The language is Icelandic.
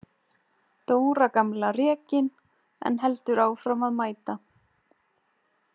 Dóra gamla rekin en heldur áfram að mæta.